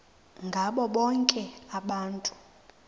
ngabo bonke abantu